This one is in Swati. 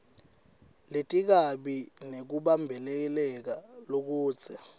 letikabi nekubambeleleka lokudze